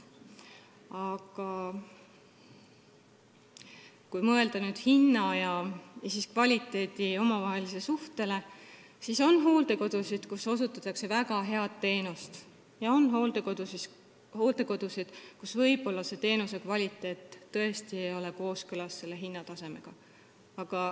Aga kui mõelda hinna ja kvaliteedi omavahelisele suhtele, siis on hooldekodusid, kus osutatakse väga head teenust, ja on hooldekodusid, kus teenuse kvaliteet võib-olla tõesti ei ole kooskõlas hinnatasemega.